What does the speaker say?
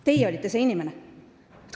Teie olite see inimene.